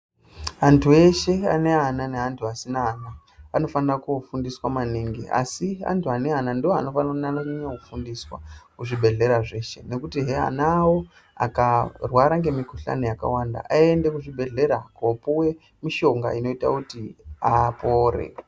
Anyu eshe ane ana neantu asina ana anofanire kofundiswa maningi asi antu ane ana ndoanonanye kufundiswa kuzvibhedhlera zveshe nekutihe ana awo akarwara ngemukhuhlani yakawanda aende kuzvibhedhlera kopiwe mishonga inoite kuti apore.